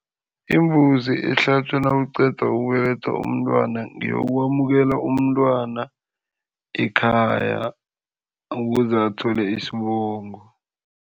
Imbuzi ehlatjwa nakuqedwa ukubelethwa umntwana, ngeyokwamukela umntwana ekhaya ukuze athole isibongo.